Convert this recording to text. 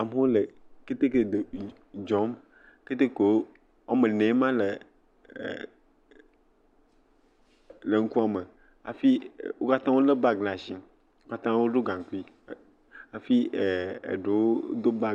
amewo le keteke dzɔm, keteke wome enee ma le e.. le eŋkua me afi wo katã wolé bagi le ashi, wo katã woɖɔ gaŋkui, hafi ee eɖowo do bag..